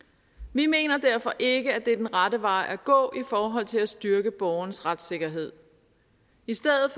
vi mener derfor ikke at det er den rette vej at gå i forhold til at styrke borgerens retssikkerhed i stedet